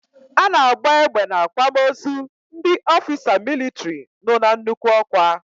A na agba egbe n'akwamozu ndị ofisa militri no n'nnukwu okwa